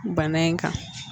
Bana in kan